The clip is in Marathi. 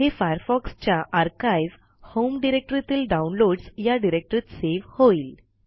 हे Firefoxच्या आर्काइव होम डिरेक्टरीतील डाऊनलोडस् या डिरेक्टरीत सेव्ह होईल